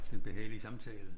Den behagelige samtale